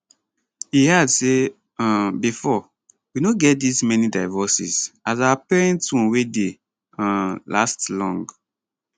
e add say um bifor we no get dis many divorces as our parents own wey dey um last long